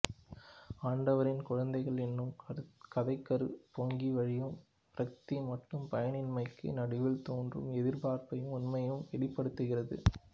ஆடவரின் குழந்தைகள் என்னும் கதைக்கரு பொங்கி வழியும் விரக்தி மற்றும் பயனின்மைக்கு நடுவில் தோன்றும் எதிர்பார்ப்பையும் உண்மையையும் வெளிப்படுத்துகிறது